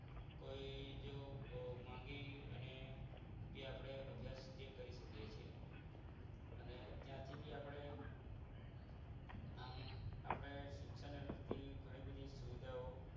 કોઈ જો માંગી અને અભ્યાસ આપણે કરી શકીએ અને ત્યાંથી આપણે આપણી શિક્ષણને લગતી ઘણી બધી સુવિધાઓ